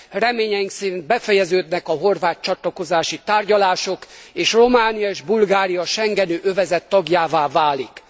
Reményeink szerint befejeződnek a horvát csatlakozási tárgyalások, és Románia és Bulgária a schengeni övezet tagjává válik.